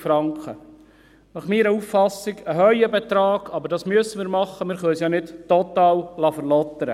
Meines Erachtens ist dies ein hoher Betrag, aber das müssen wir machen, wir können es ja nicht total verlottern lassen.